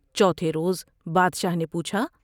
چوتھے روز بادشاہ نے پوچھا ۔